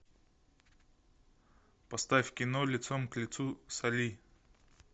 поставь кино лицом к лицу с али